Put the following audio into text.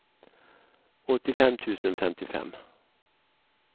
åttiofem tusen femtiofem